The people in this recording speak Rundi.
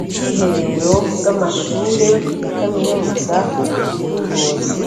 Ubwiherero bw' amashure ya kaminuza y' Ingozi